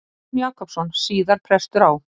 Jón Jakobsson, síðar prestur á